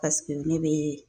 ne bɛ